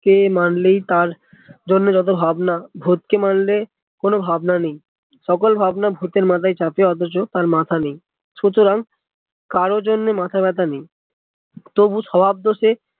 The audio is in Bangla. কে মানলেই তার জন যত ভাবনা ভুতকে মানলে কোনো ভাবনা নেই সকল ভবন ভুতের মাথায় চাপিয়ে অথচ তার মাথা নেই সুতরাং কারো জন্য মাথা ব্যাথা নেই তবু স্বভাব দোষে